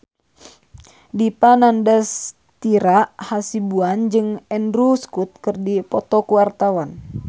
Dipa Nandastyra Hasibuan jeung Andrew Scott keur dipoto ku wartawan